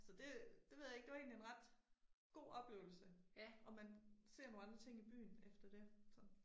Så det, det ved jeg ikke det var egentlig en ret god oplevelse. Og man ser nogle andre ting i byen efter det, så